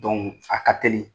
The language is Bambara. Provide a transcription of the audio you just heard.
fa ka teli